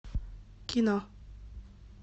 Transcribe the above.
кино